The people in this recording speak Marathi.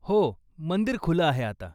हो, मंदिर खुलं आहे आता.